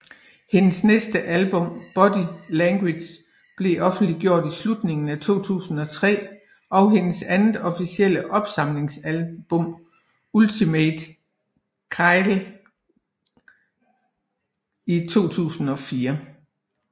Hendes næste album Body Language blev offentliggjort i slutningen af 2003 og hendes andet officielle opsamlingsalbum Ultimate Kylie i 2004